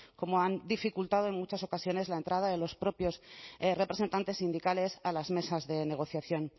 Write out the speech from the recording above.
cómo han dificultado en muchas ocasiones la entrada de los propios representantes sindicales a las mesas de negociación